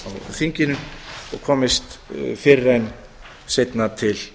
þinginu og komist fyrr en seinna til